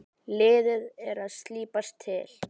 Liðið er að slípast til.